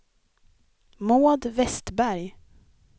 Maud Westberg